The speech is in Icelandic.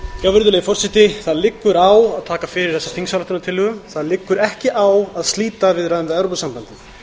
virðulegi forseti það liggur á að taka fyrir þessa þingsályktunartillögu það liggur ekki á að slíta viðræðum við evrópusambandið